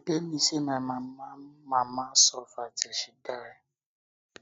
e dey pain me say my mama mama suffer till she die